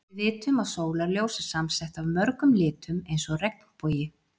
Við vitum að sólarljós er samsett af mörgum litum eins og regnbogi.